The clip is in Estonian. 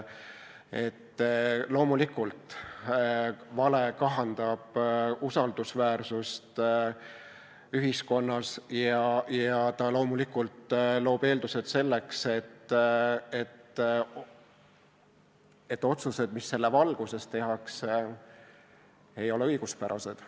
Loomulikult, vale kahandab usaldusväärsust ühiskonnas ja loob eeldused selleks, et otsused, mis selle valguses tehakse, ei ole õiguspärased.